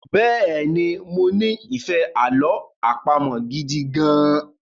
Bẹ́ẹ̀ni, mo ní ìfẹ́ àlọ àpamọ̀ gidi gan-an